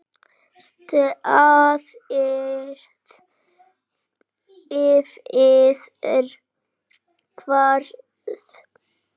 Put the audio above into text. Staðið yfir hvað?